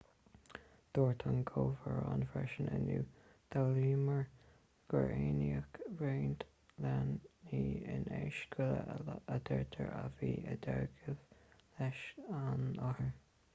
dúirt an gobharnóir freisin inniu d'fhoghlaimíomar gur aithníodh roinnt leanaí in aois scoile a deirtear a bhí i dteagmháil leis an othar